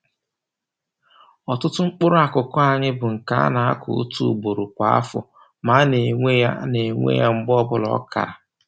Ọtụtụ mkpụrụakụkụ anyị bụ nke a na-akụ otu ugboro kwa afọ ma a na-ewe na-ewe ya mgbe ọbụla ọ kara